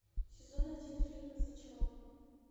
сезон один фильма зачарованные